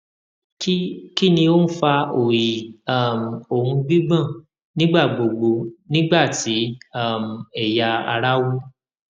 kí kí ni ó ń fa oyi um òun gbigbon nígbà gbogbo nígbà tí um ẹya ara wú